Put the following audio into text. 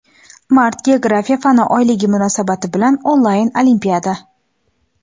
Mart - Geografiya fan oyligi munosabati bilan onlayn olimpiada!.